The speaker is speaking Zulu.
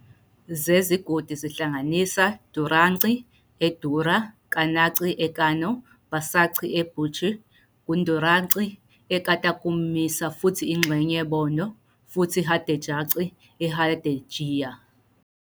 zezigodi zihlanganisa "Dauranci" e Daura, "Kananci" e Kano, "Bausanci" e Bauchi, "Gudduranci" e Katagum Misau futhi ingxenye Borno, futhi "Hadejanci" e Hadejiya.